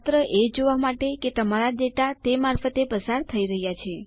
માત્ર એ જોવા માટે કે તમારા ડેટા તે મારફતે પસાર થઇ રહ્યા છે